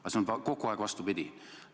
Aga see on kogu aeg vastupidi.